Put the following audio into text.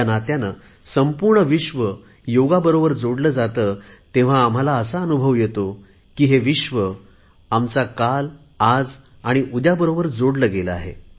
नात्याने जेव्हा संपूर्ण विश्व योगाबरोबर जोडले जाते तेव्हा एक भारतीय म्हणून आम्हाला असा अनुभव येतो की हे विश्व आमच्या काल आज आणि उद्या बरोबर जोडले गेलेले आहे